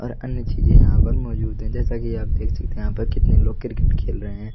और अन्य चीजें यहां पर मौजूद है जैसे कि आप सकते है यहां पे कितने लोग क्रिकेट खेल रहे है।